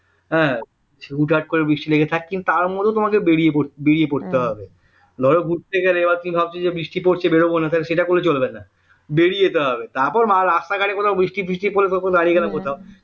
হ্যাঁ হুটহাট করে বৃষ্টি লেগে থাকে কিন্তু তার মধ্যেই তোমাকে বেরিয়ে পড়তে বেরিয়ে পড়তে হবে ধরো ঘুরতে গেলে বা তুমি ভাবছো যে বৃষ্টি পড়ছে বেরোবো না কিন্তু সেটা করলে চলবে না বেরিয়ে যেতে হবে তারপরে রাস্তাঘাটে কোথাও বৃষ্টি টিষ্টি পড়লে দাঁড়িয়ে গেলে কোথাও